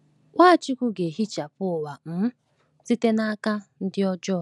Nwachukwu ga-ehichapụ ụwa um site n’aka ndị ajọ.